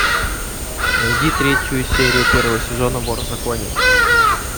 найди третью серию первого сезона вор в законе